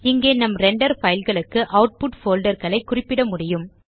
இங்கே நம் ரெண்டர் fileகளுக்கு ஆட்புட் போல்டர் ஐ குறிப்பிட முடியும்